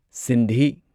Sindhi